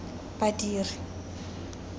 badiri